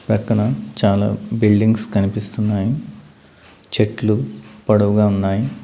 ప్రక్కన చాలా బిల్డింగ్స్ కనిపిస్తున్నాయి చెట్లు పొడవుగా ఉన్నాయి.